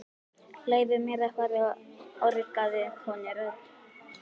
Leyfið mér að fara orgaði konurödd.